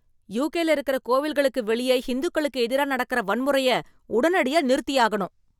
யுகேல இருக்கற கோவில்களுக்கு வெளிய ஹிந்துக்களுக்கு எதிரா நடக்கற வன்முறைய உடனடியா நிறுத்தியாகணும்